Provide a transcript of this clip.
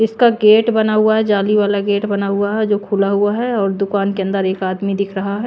इसका गेट बना हुआ है जाली वाला गेट बना हुआ है जो खुला हुआ है और दुकान के अंदर एक आदमी दिख रहा हैं।